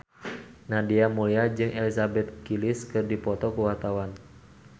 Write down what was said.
Nadia Mulya jeung Elizabeth Gillies keur dipoto ku wartawan